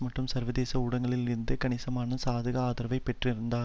மற்றும் சர்வதேச ஊடகத்தில் இருந்து கணிசமான சாதக ஆதரவை பெற்றிருந்தார்